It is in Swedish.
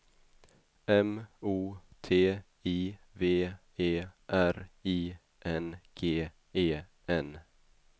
M O T I V E R I N G E N